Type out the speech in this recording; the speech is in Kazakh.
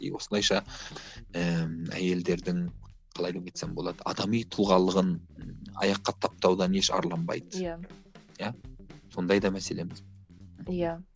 и осылайша ыыы әйелдердің қалай деп айтсам болады адами тұлғалығын аяққа таптаудан еш арланбайды иә иә сондай да мәселеміз иә